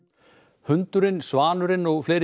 hundurinn svanurinn og fleiri